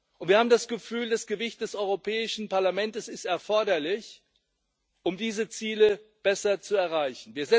Und wir haben das Gefühl, das Gewicht des Europäischen Parlamentes ist erforderlich, um diese Ziele besser zu erreichen.